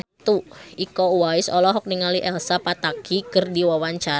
Iko Uwais olohok ningali Elsa Pataky keur diwawancara